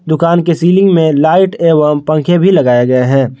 दुकान के सीलिंग में लाइट एवं पंखे भी लगाए गए हैं।